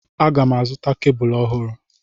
Aga m azụta kebụl ọhụrụ.